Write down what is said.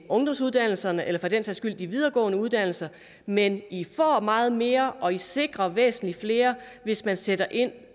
ungdomsuddannelserne eller for den sags skyld de videregående uddannelser men i får meget mere og i sikrer væsentlig flere hvis man sætter ind